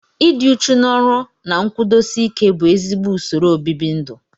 Ịdị uchu n'ọrụ na nkwụdosi ike bụ ezigbo usoro obibindu